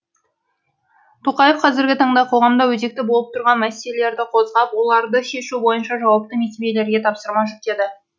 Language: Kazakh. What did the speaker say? тоқаев қазіргі таңда қоғамда өзекті болып тұрған мәселелерді қозғап оларды шешу бойынша жауапты мекемелерге тапсырма жүктеді